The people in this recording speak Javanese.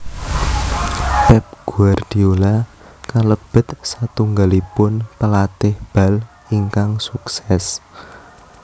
Pep Guardiola kalebet satunggalipun pelatih bal ingkang sukses